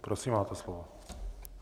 Prosím, máte slovo.